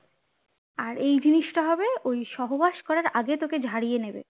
আর এই জিনিসটা হবে ওই সহবাস করার আগে তোকে ঝরিয়ে নেবে